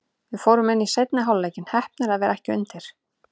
Við fórum inn í seinni hálfleikinn, heppnir að vera ekki undir.